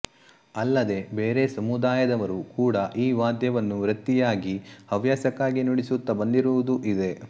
ಅಲ್ಲದೆ ಬೇರೆ ಸಮುದಾಯದವರೂ ಕೂಡ ಈ ವಾದ್ಯವನ್ನು ವೃತ್ತಿಯಾಗಿ ಹವ್ಯಾಸಕ್ಕಾಗಿ ನುಡಿಸುತ್ತ ಬಂದಿರುವುದೂ ಇದೆ